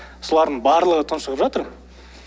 солардың барлығы тұншығып жатыр